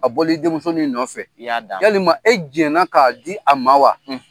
A bɔlen i denmusonin nɔfɛ. I y'a d'a ma. Yalima e jɛn na k'a di a ma wa?